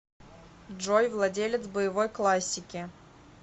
джой владелец боевой классики